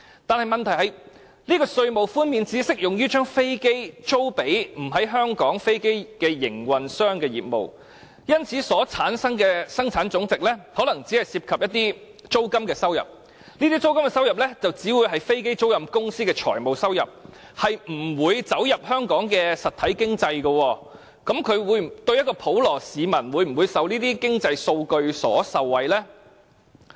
但問題是，稅務寬免只適用於將飛機租予"非香港飛機營運商"的業務，因此，所產生的本地生產總值可能只涉及租金收入，這些租金收入只會是飛機租賃公司的財務收入，不會走進香港的實體經濟，普羅市民會否因為這些經濟數據而受惠呢？